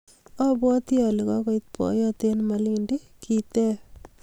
Abwati ale kokoit boiyot eng malindi? Kiteb